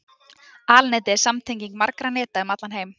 Alnetið er samtenging margra neta um allan heim.